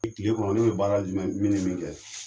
E kile kɔnɔ ne be baara jumɛn min ni min kɛ